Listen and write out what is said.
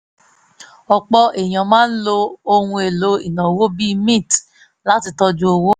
ọ̀pọ̀ èèyàn máa ń lo ohun èlò ìnáwó bíi mint láti tọ́jú owó